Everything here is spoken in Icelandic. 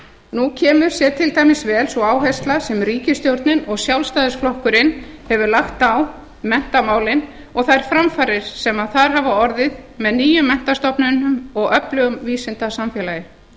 nú kemur sér til dæmis vel sú áhersla sem ríkisstjórnin og sjálfstæðisflokkurinn hefur lagt á menntamálin og þær framfarir sem þar hafa orðið með nýjum menntastofnunum og öflugu vísindasamfélagi